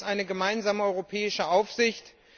Wir haben jetzt eine gemeinsame europäische Aufsicht.